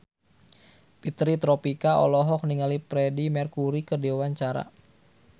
Fitri Tropika olohok ningali Freedie Mercury keur diwawancara